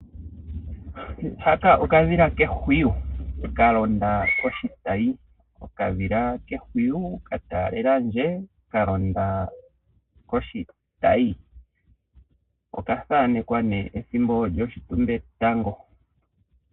Haka okadhila kehwiyu ka londa koshitayi. Okadhila kehwiyu ka taalela ndje ka londa koshitayi. Oka thanekwa nee ethimbo lyoshitumbetango.